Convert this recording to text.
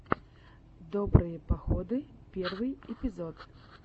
добрые походы первый эпизод